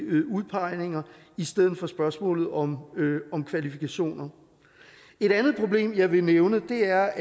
udpegninger i stedet for spørgsmålet om kvalifikationer et andet problem jeg vil nævne det er